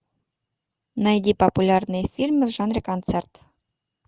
найди популярные фильмы в жанре концерт